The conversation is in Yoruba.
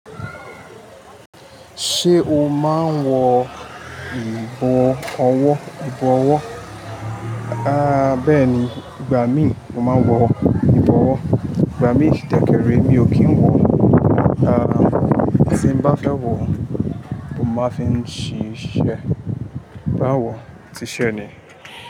Ṣé o máa ń wọ ìbọ̀wọ́? À bẹ́ẹ̀ni, ìgbà mi mo máa ń wọ ìbọwọ́. Ìgbà mi dákẹ́rẹ́ mi ò kí ń wọ. A, tí bá fẹ́ wọ̀, mo máa fi ń ṣe iṣe, bá wọ̀, ṣì ṣe ni.